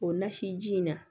O nasi ji in na